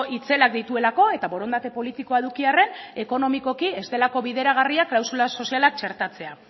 itzelak dituelako eta borondate politikoa eduki arren ekonomikoki ez delako bideragarria klausula sozialak txertatzea